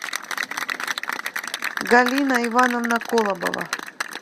галина ивановна колобова